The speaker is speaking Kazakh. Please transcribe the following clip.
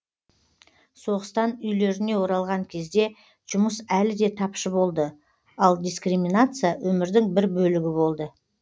соғыстан үйлеріне оралған кезде жұмыс әлі де тапшы болды ал дискриминация өмірдің бір бөлігі болды